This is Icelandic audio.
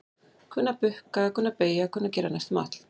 Kunna að bukka, kunna að beygja kunna að gera næstum allt.